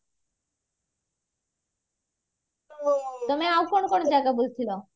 ତମେ ଆଉ କଣ କଣ ଜାଗା ବୁଲିଥିଲା